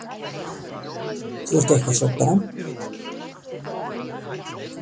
Þú ert eitthvað svo domm.